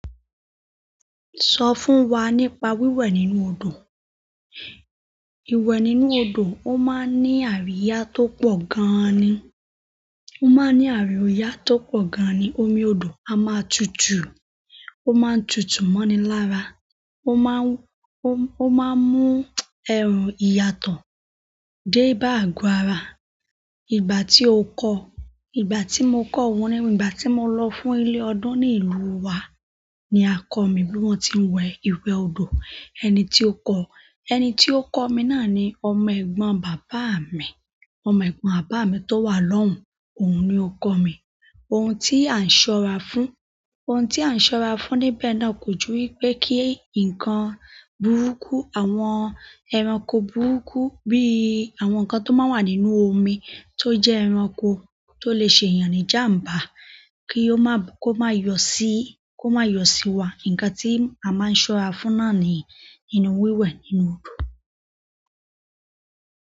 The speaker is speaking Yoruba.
Sọ fún wa nípa wíwẹ̀ nínú odò. Iwẹ nínú odò, ó máa ń ní àríyá tó pọ̀ gan ni. Ó máa ń ní àríyá tó pọ̀ gan ni. Omi odò a máa tutù. Ó máa ń tutù mọ́ni lára. Ó má ń mú ìyàtọ̀ dé bá àgo ara. Ìgbà tí o kọ́, ìgbà tí mo kọ́ wọ́n ni, ìgbà tí mo lọ fún ilé ọdún ní ìlú wa ni a kọ̀ mí bí wọ́n ti ń wẹ ìwẹ odò. Ẹni tí ó kọ̀, ẹni tí ó kọ̀ mi náà ni ọmọ ẹ̀gbọ́n bàbá mi. Ọmọ ẹ̀gbọ́n bàbá mi tó wà lọ́hùn, òun ni ó kọ̀ mi. Ohun tí à ń ṣọ́ra fún, ohun tí à ń ṣọ́ra fún níbẹ̀ náà kò ju wípé kí nǹkan burúkú, àwọn ẹranko burúkú bí àwọn ǹnkan tó máa ń wà nínú omi tó jẹ́ ẹranko tó lè ṣe èèyàn ní jàmbá ko máa yọ si, kó máa yọ sí wa. Nǹkan tí a má a ń ṣọ́ra fún náà ni nínú wíwẹ̀ nínú odò.